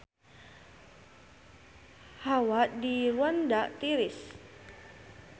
Hawa di Rwanda tiris